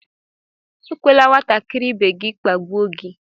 Ekwela nwatakịrị ibe gị kpagbuo gị!